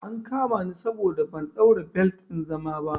An kama ni saboda ban ɗaura belet ɗin zama ba